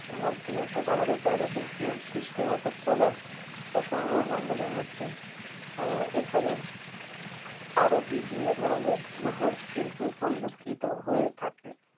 এর মধ্যে অর্থাৎ আমাদের planet এ যে সৃষ্টি অর্থাৎ solar বা সৌরমন্ডলীর মধ্যে আহ এখানে আরো বিভিন্ন ধরনের গ্রহ কিন্তু পরিলক্ষিত হয়ে থাকে